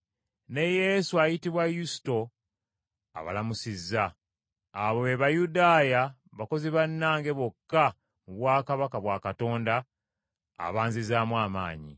ne Yesu ayitibwa Yusito abalamusizza. Abo be Bayudaaya, bakozi bannange bokka mu bwakabaka bwa Katonda, abaanzizaamu amaanyi.